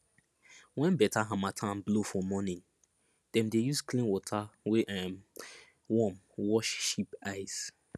when better harmattan blow for morning dem dey use clean water wey um warm wash sheep eyes